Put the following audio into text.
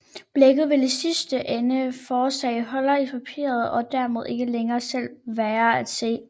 Blækket vil i sidste ende forårsage huller i papiret og dermed ikke længere selv være at se